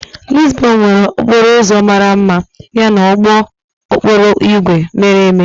Lizbon nwere okporo ụzọ mara mma yana ụgbọ okporo ígwè mere eme.